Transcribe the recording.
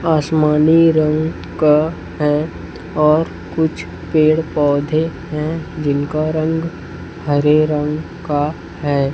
आसमानी रंग का है और कुछ पेड़-पौधे है जिनका रंग हरे रंग का है।